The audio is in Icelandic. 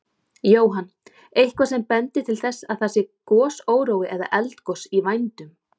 Jóhann: Eitthvað sem bendir til þess að það sé gosórói eða eldgos í vændum?